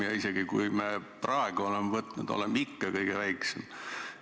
Ja hoolimata sellest, et oleme praegu laenu võtnud, on see ikka kõige väiksem.